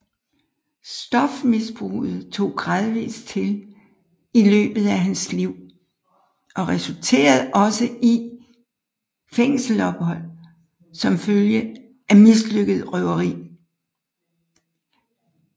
Stofmisbruget tog gradvist til i løbet af hans liv og resulterede også i fængselsophold som følge af mislykket røveri